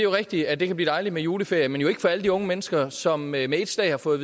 rigtigt at det kan blive dejligt med juleferie men jo ikke for alle de unge mennesker som med ét slag har fået